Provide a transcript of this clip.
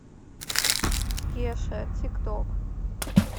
кеша тик ток